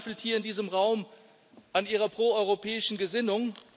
niemand zweifelt hier in diesem Raum an Ihrer proeuropäischen Gesinnung.